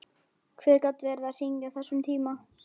Hver gat verið að hringja á þessum tíma?